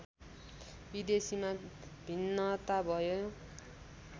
विदेशीमा भिन्नता भयो